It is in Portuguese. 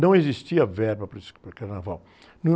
Não existia verba para esse, para carnaval.